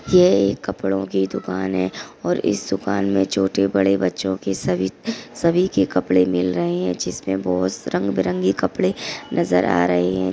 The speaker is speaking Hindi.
ये एक कपडो कि दुकान है और इस दुकान में छोटे बडे बच्चो के सभी के कपडे मिल रहे है जिसमे बहुत रंगबिरंगी कपडे नजर आ रहे है।